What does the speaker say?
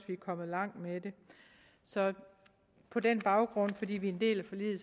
vi er kommet langt med det så på den baggrund og fordi vi er en del af forliget